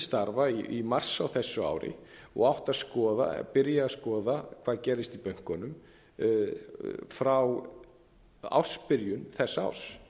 starfa í mars á þessu ári og átti að byrja að skoða hvað gerðist í bönkunum frá ársbyrjun þess árs